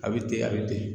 A bɛ ten a bɛ ten